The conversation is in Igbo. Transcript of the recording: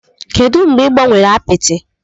Kedu mgbe ị gbanwere apịtị?